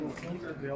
Oyan da burda.